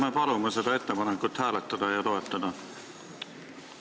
Me palume seda ettepanekut hääletada ja toetada!